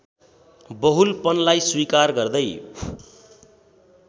बहुलपनलाई स्वीकार गर्दै